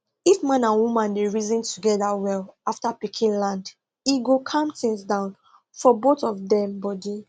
if man and woman dey reason together well after pikin land e go calm things down for both of dem body